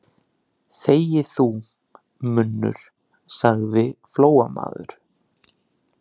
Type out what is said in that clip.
Þegi þú, munnur, sagði Flóamaður.